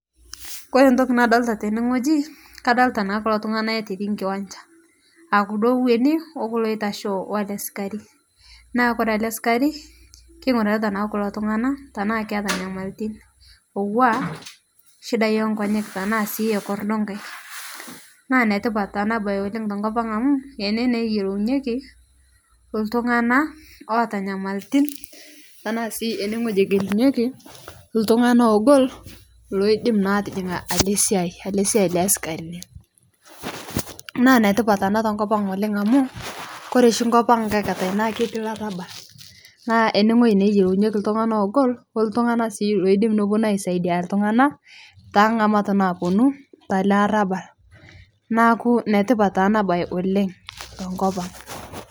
Kore ntoki nadolita teneng'oji kadolita naa kuloo tung'ana(cs yote cs) ootii nkiwanjaa, aah kuloo ooh ooweni ookulo loitashoo walee sikarii naa kore alee sikarii keng'urata naa kuloo tung'ana tanaa keata nyamalitin naua shidai eenkonyek tanaa sii ekordoo nkaiek, naa netipat anabai oleng tokopang' amuu enee naa eyelonyeki tungang'ana waata nyamalitin tanaa sii eng'elumyeki tung'ana ong'olo loidem naa atijing'i alee siyai alee siyai leesikarin, naa netipat anaa oleng amuu kore shii nkopang' nkaikataa naa ketii laraabal naa eneng'oji naa eyelounyeki tung'ana ogol otung'ana sii oodim noponu aisadia tung'ana tang'amat naponuu talee arabal naaku netipat naa anabai oleng tokopang'.